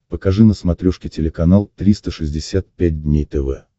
покажи на смотрешке телеканал триста шестьдесят пять дней тв